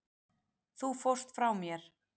Þú fórst frá mér.